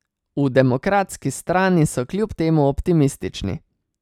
V Demokratski strani so kljub temu optimistični.